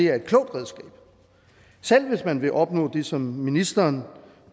er et klogt redskab selv hvis man vil opnå det som ministeren